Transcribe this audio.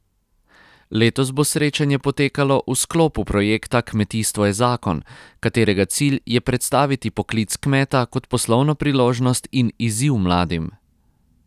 Letos bo srečanje potekalo v sklopu projekta Kmetijstvo je zakon, katerega cilj je predstaviti poklic kmeta kot poslovno priložnost in izziv mladim.